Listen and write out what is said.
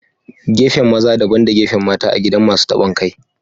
Gefen maza. Dabban da gefen mata a gidan Masun tabon kai.